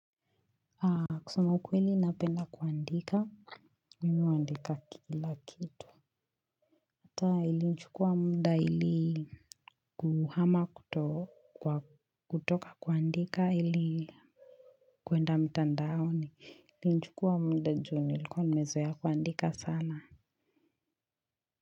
Kusema ukweli napenda kuandika Mimi huandika kila kitu. Hata ili nichukua muda ili kuhama kuto kwa kutoka kuandika ili kwenda mtandaoni ili nichukua muda juu nilikuwa nimezoea kuandika sana.